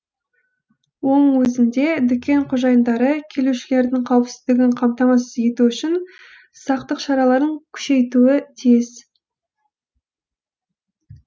оның өзінде дүкен қожайындары келушілердің қауіпсіздігін қамтамасыз ету үшін сақтық шараларын күшейтуі тиіс